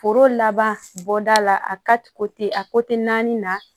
Foro laban bɔda la a ka te a naani na